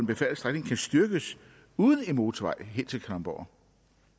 befærdede strækning kan styrkes uden en motorvej helt til kalundborg